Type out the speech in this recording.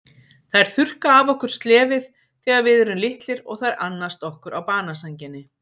Þær þurrka af okkur slefið þegar við erum litlir og þær annast okkur á banasænginni.